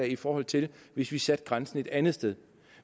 i forhold til hvis vi satte grænsen et andet sted